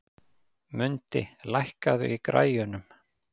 Mundi, lækkaðu í græjunum.